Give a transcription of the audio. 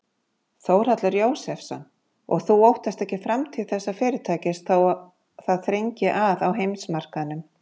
Þórhallur Jósefsson: Og þú óttast ekki framtíð þessa fyrirtækis þó það þrengi að á heimsmarkaðnum?